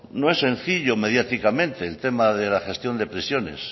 no es sencillo mediáticamente el tema de la gestión de prisiones